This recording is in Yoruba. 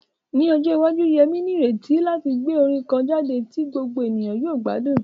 Ní ọjọ́ iwájú, Yemi ní ìrètí láti gbé orin kan jáde tí gbogbo ènìyàn yóò gbádùn.